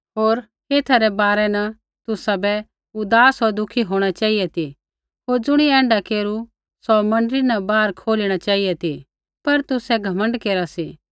होर एथा रै बारै न तुसाबै उदास होर दुःखी होंणा चेहिऐ ती होर ज़ुणियै ऐण्ढा केरु सौ मण्डली न बाहरै खोलिणा चेहिऐ ती पर तुसै घमण्ड केरा सी